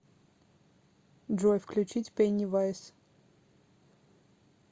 джой включить пеннивайз